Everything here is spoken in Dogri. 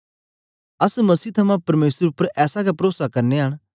अस मसीह थमां परमेसर उपर ऐसा गै परोसा करनयां न